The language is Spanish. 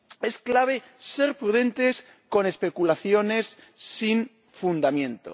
Es clave ser prudentes con especulaciones sin fundamento.